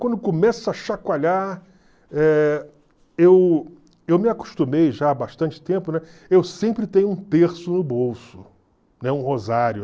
Quando eu começa a chacoalhar, eh eu eu me acostumei já há bastante tempo, né, eu sempre tenho um terço no bolso, né, um rosário.